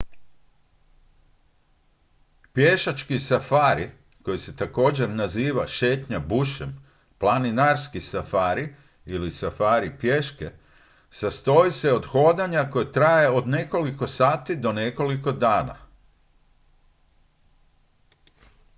"pješački safari koji se također naziva "šetnja bushem" "planinarski safari" ili "safari pješke" sastoji se od hodanja koje traje od nekoliko sati do nekoliko dana.